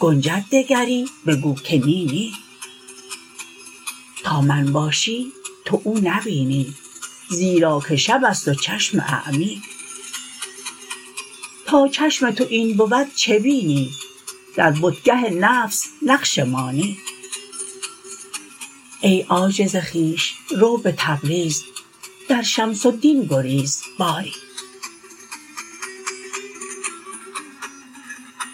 گنجد دگری بگو که نی نی تا من باشی تو او نبینی زیرا که شب است و چشم اعمی تا چشم تو این بود چه بینی در بتگه نفس نقش مانی ای عاجز خویش رو به تبریز در شمس الدین گریز باری